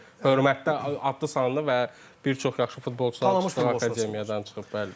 Yəni hörmətli adlı sanlı və bir çox yaxşı futbolçuların çıxdığı akademiyadan çıxıb.